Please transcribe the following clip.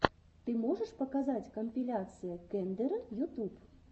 ты можешь показать компиляция кендера ютуб